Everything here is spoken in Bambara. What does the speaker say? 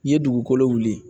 N'i ye dugukolo wuli